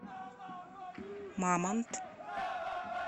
мамонт